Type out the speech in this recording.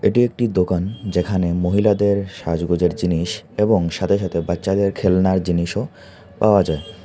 এটি একটি দোকান যেখানে মহিলাদের সাজগোজের জিনিস এবং সাথে সাথে বাচ্চাদের খেলনার জিনিসও পাওয়া যায় ।